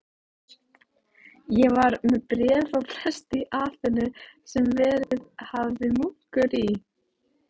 Ég var með bréf frá presti í Aþenu, sem verið hafði munkur í